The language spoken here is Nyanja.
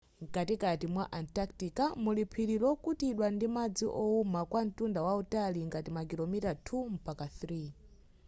nkatikati mwa antartica muli phiri lokutidwa ndi madzi owuma kwa ntunda wautali ngati makilomita 2 mpaka 3